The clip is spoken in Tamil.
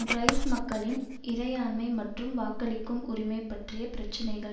ட்ரைப் மக்களின் இறையாண்மை மற்றும் வாக்களிக்கும் உரிமை பற்றிய பிரச்சினைகள்